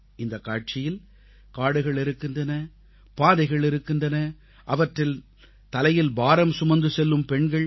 இந்தக் காட்சியில் காடுகள் இருக்கின்றன பாதைகள் இருக்கின்றன அவற்றில் தலையில் பாரம் சுமந்து செல்லும் பெண்கள்